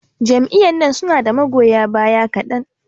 Jam'iyyan nan su na da magoya baya kaɗan.